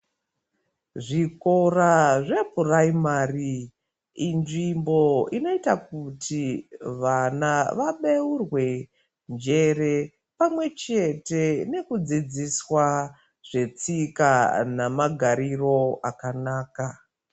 Zvikora zvepuraimari inzvimbo inoita kuti vana vabeurwe njere pamwe chete nekudzidziswa zvetsika namagariro akanaka.